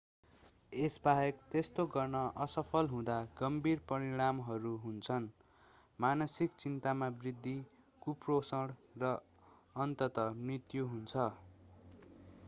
यसबाहेक त्यस्तो गर्न असफल हुँदा गम्भीर परिणामहरू हुन्छन् मानसिक चिन्तामा वृद्धि कुपोषण र अन्ततः मृत्यु हुन्छ